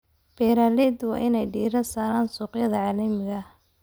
Beeralayda waa in ay diiradda saaraan suuqyada caalamiga ah.